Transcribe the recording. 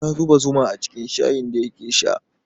Ya zuba zuma cikin shayin da yake sha